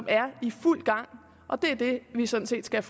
er i fuld gang og det er det vi sådan set skal